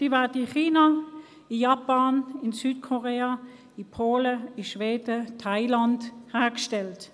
Die Batterien werden in China, Japan, Südkorea, Polen, Schweden und Thailand hergestellt.